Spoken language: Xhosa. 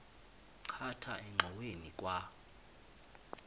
khatha engxoweni kwa